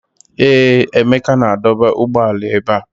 Ee, Emeka na-adọba ụgbọala ebe a.